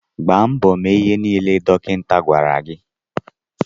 Gbaa mbọ mee ihe nile dọkịta gwara gị.